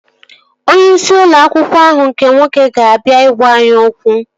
Onye isi ụlọ akwụkwọ ahụ nke nwoke ga-abịa ị gwaa anyị okwu